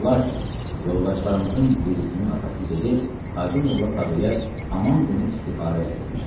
Və lakin yoldaşlarımızın birisinin atası gedib Hacı Molla Tağıya haman günü istixarə elətdirmişdi.